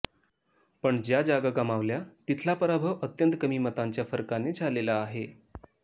पण ज्या जागा गमावल्या तिथला पराभव अत्यंत कमी मतांच्या फरकाने झालेला आहे